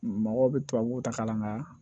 Mɔgɔw bɛ tubabuw ta ka na nka